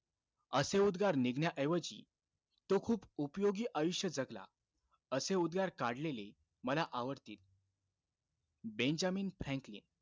असे उद्गार निघण्याऐवजी तो खूप उपयोगी आयुष्य जगला, असे उद्गार काढलेले मला आवडतील. Benjamin Franklin.